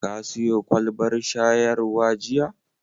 Ka siyo kwalbar shayarwa jiya?